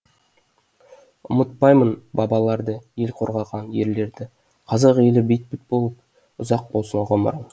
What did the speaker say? ұмытпаймын бабаларды ел қорғаған ерлерді қазақ елі бейбіт болып ұзақ болсын ғұмырың